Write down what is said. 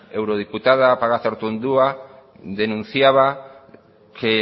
eurodiputada pagazaurtundua denunciaba que